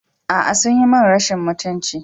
A'a, sun yi min rashin mutunci.